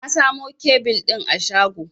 Na samo kebil ɗin a shago.